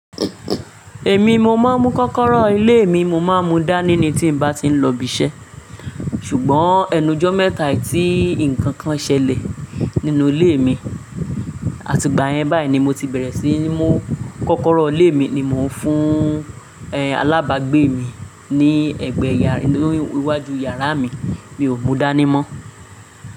Èmi ni mo máa ń mú kọ́kọ́rọ́ ilé mi, mo máa ń mú dání ni tí n bá ti ń lọ si ibi iṣẹ́. Ṣùgbọ́n ni ẹnu ijọ́ mẹ́ta ètí nǹkan kan ṣẹlẹ̀ nínú ilé mi, àtigbá yẹn báyìí ni mo ti bẹ̀rẹ̀ sí ní mú kọ́kọ́rọ́ ilé mi ni mò ń fún alábàgbé mi ní iwájú yàrá mi. Mi ò mú dání mọ́